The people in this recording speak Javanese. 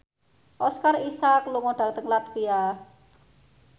Oscar Isaac lunga dhateng latvia